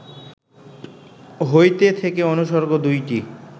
হইতে, থেকে অনুসর্গ দুইটি